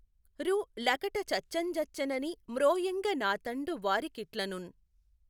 రు లకట చచ్చెఁ జచ్చె నని మ్రోయఁగ నాతఁడు వారి కిట్లనున్.